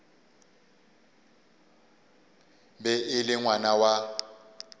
be e le ngwana wa